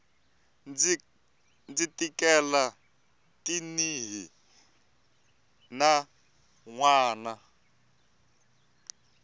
ndzi tikela tanihi n wana